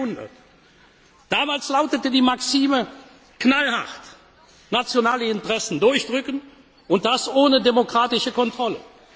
im 19. Jahrhundert. Damals lautete die Maxime knallhart nationale Interessen durchdrücken und das ohne demokratische Kontrolle.